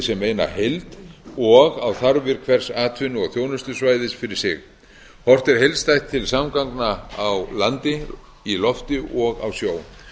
sem eina heild og á þarfir hvers atvinnu og þjónustusvæðis fyrir sig horft er heildstætt til samgangna á landi í lofti og á sjó